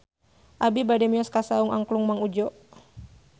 Abi bade mios ka Saung Angklung Mang Udjo